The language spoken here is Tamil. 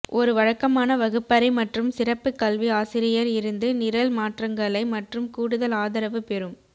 ஒரு வழக்கமான வகுப்பறை மற்றும் சிறப்பு கல்வி ஆசிரியர் இருந்து நிரல் மாற்றங்களை மற்றும் கூடுதல் ஆதரவு பெறும்